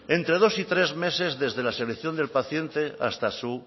entre dos y tres meses desde la selección del paciente hasta su